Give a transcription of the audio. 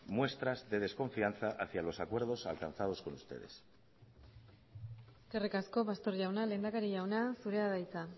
muestras de desconfianza hacia los acuerdos alcanzados con ustedes eskerrik asko pastor jauna lehendakari jauna zurea da hitza